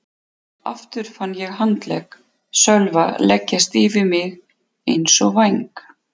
Aftur fann ég handlegg Sölva leggjast yfir mig eins og væng.